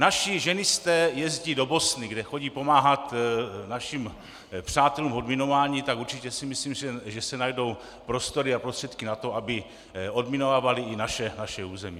Naši ženisté jezdí do Bosny, kde chodí pomáhat našim přátelům v odminování, tak určitě si myslím, že se najdou prostory a prostředky na to, aby odminovávali i naše území.